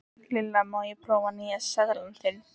Lilla, má ég prófa nýja sleðann þinn?